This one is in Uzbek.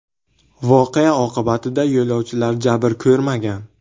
Voqea oqibatida yo‘lovchilar jabr ko‘rmagan.